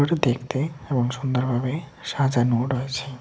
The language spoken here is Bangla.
দেখতে এবং সুন্দরভাবে সাজানোও রয়েছে।